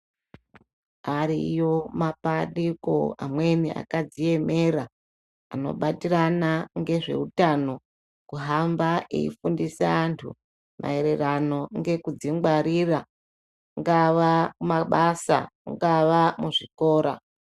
Ariyo mapandiko amweni akadziemera anobatirana ngezvehutano. Kuhamba eifundisa antu maererano ngekudzingwarira ungava mabasa ungava muzvikora.